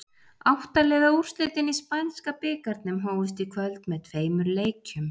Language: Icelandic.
Átta liða úrslitin í spænska bikarnum hófust í kvöld með tveimur leikjum.